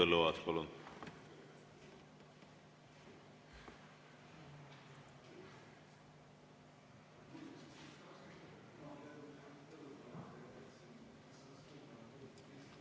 Henn Põlluaas, palun!